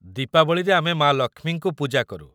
ଦୀପାବଳିରେ ଆମେ ମା' ଲକ୍ଷ୍ମୀଙ୍କୁ ପୂଜା କରୁ ।